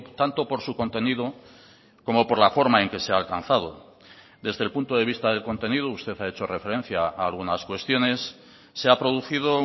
tanto por su contenido como por la forma en que sea alcanzado desde el punto de vista del contenido usted ha hecho referencia a algunas cuestiones se ha producido